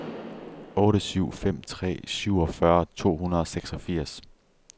otte syv fem tre syvogfyrre to hundrede og seksogfirs